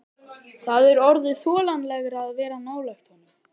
Það er orðið þolanlegra að vera nálægt honum.